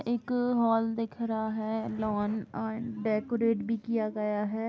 एक हॉल दिख रहा है। लॉन एंड डेकोरेट भी किया गया है।